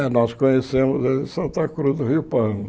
É, nós conhecemos ele de Santa Cruz do Rio Pardo.